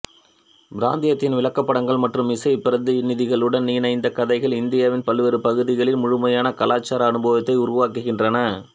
பிராந்தியத்தின் விளக்கப்படங்கள் மற்றும் இசை பிரதிநிதிகளுடன் இந்த கதைகள் இந்தியாவின் பல்வேறு பகுதிகளின் முழுமையான கலாச்சார அனுபவத்தை உருவாக்குகின்றன